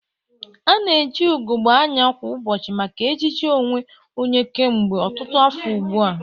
Ana eji ugogbe anya kwa ụbọchị maka ejiji onwe onye kemgbe ọtụtụ afọ ugbu a.